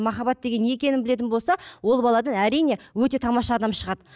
махаббат деген не екенін білетін болса ол баладан әрине өте тамаша адам шығады